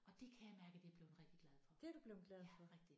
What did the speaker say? Og det kan jeg mærke at jeg er bleven rigtig glad for. Ja rigtig